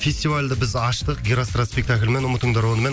фестивальді біз аштық герострат спектаклімен ұмытыңдар онымен